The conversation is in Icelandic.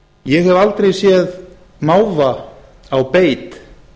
ég hef aldrei séð máva á beit